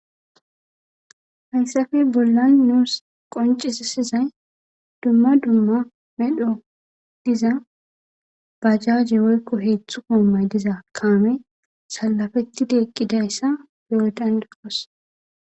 Haysappe bollan nuusi qoncisizay dumma dumma medhoy diza bajaje woyko hezdzdu goomay diza kaamey salapetid eqidaysa beyo danda'osi.